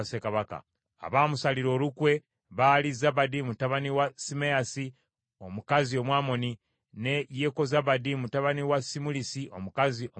Abaamusalira olukwe baali Zabadi mutabani wa Simeyaasi omukazi Omwamoni, ne Yekozabadi mutabani wa Simulisi omukazi Omumowaabu.